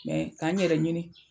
Mɛ k'a n yɛrɛ ɲini.